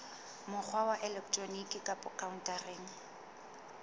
mokgwa wa elektroniki kapa khaontareng